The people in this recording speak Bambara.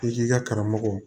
I k'i ka karamɔgɔ